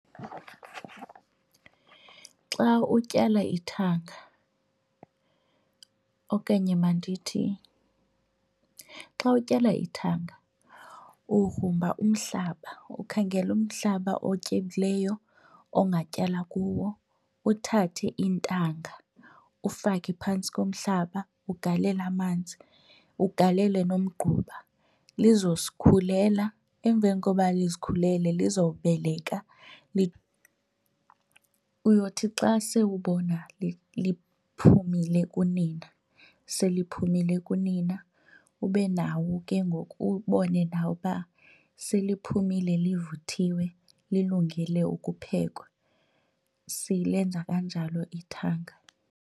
Xa utyala ithanga okanye mandithi xa utyala ithanga ugrumba umhlaba. Ukhangele umhlaba otyebileyo ongatyala kuwo uthathe iintanga ufake phantsi komhlaba ugalele amanzi ugalele nomgquba lizozikhulela. Emveni koba lizikhulele lizobeleka . Uyothi xa sewubona liphumile kunina seliphumile kunina ube nawe ke ngoku ubone nawe uba seliphumile livuthiwe lilungele ukuphekwa. Silenza kanjalo ithanga.